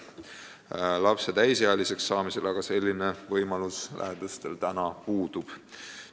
Pärast lapse täisealiseks saamist aga selline võimalus lähedastel puudub.